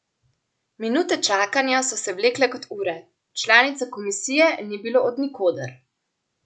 Minute čakanja so se vlekle kot ure, članice komisije ni bilo od nikoder.